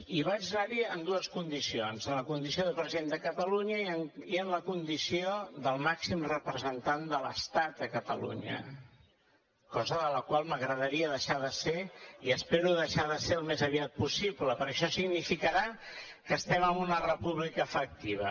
i vaig anar hi en dues condicions en la condició de president de catalunya i en la condició de màxim representant de l’estat a catalunya la qual cosa m’agradaria deixar de ser i espero deixar de ser al més aviat possible perquè això significarà que estem en una república efectiva